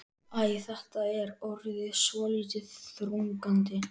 Æ, þetta er orðið svolítið þrúgandi.